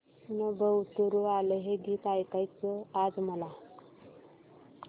नभं उतरू आलं हे गीत ऐकायचंय आज मला